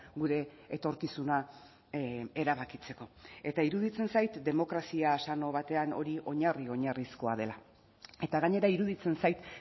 gure etorkizuna erabakitzeko eta iruditzen zait demokrazia sano batean hori oinarri oinarrizkoa dela eta gainera iruditzen zait